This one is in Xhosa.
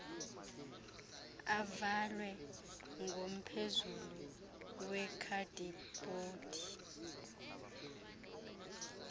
avalwe ngomphezulu wekhadibhodi